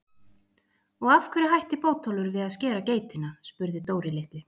Og af hverju hætti Bótólfur við að skera geitina? spurði Dóri litli.